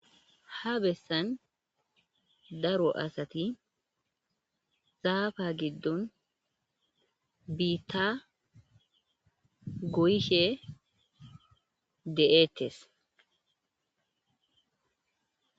Ha bessan daro asati zaafa giddon biitta goyshe de'eettes.